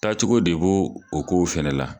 Taacogo de bo o ko fɛlɛ la.